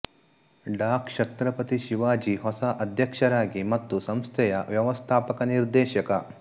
ಡಾ ಕ್ಷತ್ರಪತಿ ಶಿವಾಜಿ ಹೊಸ ಅಧ್ಯಕ್ಷರಾಗಿ ಮತ್ತು ಸಂಸ್ಥೆಯ ವ್ಯವಸ್ಥಾಪಕ ನಿರ್ದೇಶಕ